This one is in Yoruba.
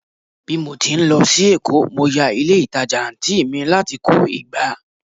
bi mo ti n lo sí Èkó, mo ya ilé ìtajà anti mi lati ko ìgbá